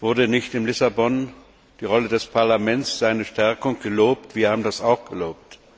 Wurde nicht in Lissabon die Rolle des Parlaments, seine Stärkung gelobt? Wir haben das auch gelobt.